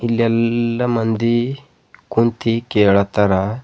ಇಲ್ ಎಲ್ಲ ಮಂದಿ ಕುಂತಿ ಕೇಳತ್ತಾರ.